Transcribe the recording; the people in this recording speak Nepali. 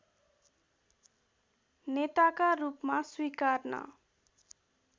नेताका रूपमा स्विकार्न